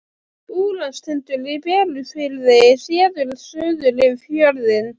Búlandstindur í Berufirði, séður suður yfir fjörðinn.